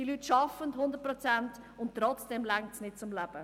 Diese Leute arbeiten 100 Prozent, und trotzdem reicht es nicht zum Leben.